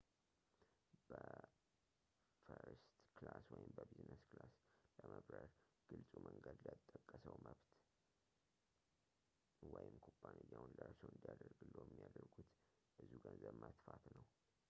በፈርስት ክላስ ወይም በቢዝነስ ክላስ ለመብረር ግልፁ መንገድ ለተጠቀሰው መብት ወይም፣ ኩባንያዎን ለእርስዎ እንዲያደርግልዎ የሚያደርጉት ብዙ ገንዘብን መትፋት ነው